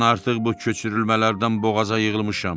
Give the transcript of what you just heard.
Mən artıq bu köçürülmələrdən boğaza yığılmışam.